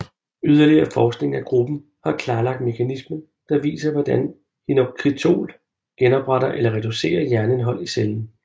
Yderligere forskning af gruppen har klarlagt mekanismen der viser hvordan hinokitiol genopretter eller reducerer jernindhold i cellen